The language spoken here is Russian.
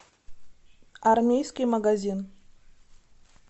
армейский магазин